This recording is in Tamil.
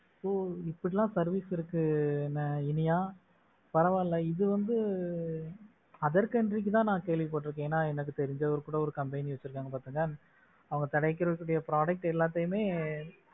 ஓ இப்படி எல்லாம் service இருக்கு இனியா பரவாயில்ல, இது வந்து other country தான் நான் கேள்விப்பட்டு இருக்கேன். ஏன்னா எனக்கு தெரிஞ்சவர் கூட இப்படி ஒரு கம்பெனி வச்சிருக்காங்க அவங்களுக்கு கிடைக்கக்கூடிய product எல்லாத்தையுமே,